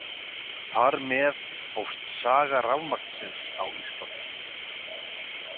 Þar með hófst saga rafmagnsins á Íslandi.